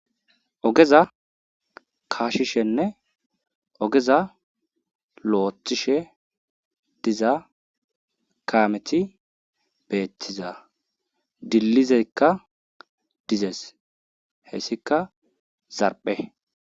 Ogeza kaashishenne ogeza lu7ettishe diza kaameti beettiza dillizekka dizes heysikka zarphe.